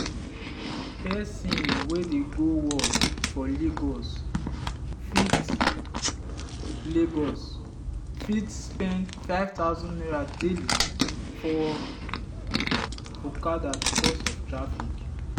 person wey dey go work for lagos fit lagos fit spend ₦5000 daily for okada because of traffic.